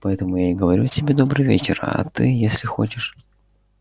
поэтому я и говорю тебе добрый вечер а ты если хочешь